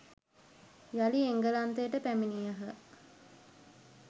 යළි එංගලන්තයට පැමිණියහ